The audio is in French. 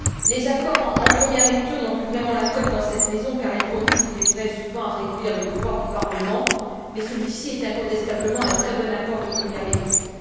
Les accords en première lecture n'ont plus vraiment la cote dans cette maison car ils conduisent souvent, il est vrai, à réduire le pouvoir du Parlement, mais celui ci est incontestablement un très bon accord de première lecture.